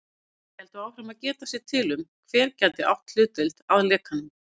Þeir héldu áfram að geta sér til um, hver gæti átt hlutdeild að lekanum.